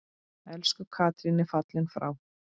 Elsku Katrín er fallin frá.